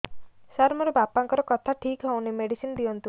ସାର ମୋର ବାପାଙ୍କର କଥା ଠିକ ହଉନି ମେଡିସିନ ଦିଅନ୍ତୁ